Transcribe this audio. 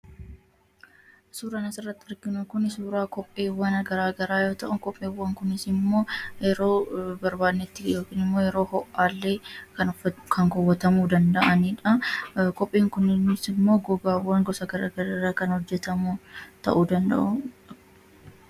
Suuraan asirratti arginu kun suuraa kopheewwan garagaraa yoo ta'u, kopheewwan kunisimmoo yeroo barbaannetti yookiinimmoo yeroo ho'aallee kan uffat kan kaawwatamuu danda'anidha. Kophee kuniinisimmoo gogaawwan gosa garagaraarraa kan hojjatamu ta'uu danda'u.